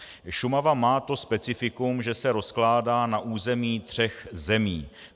Šumava má to specifikum, že se rozkládá na území tří zemí.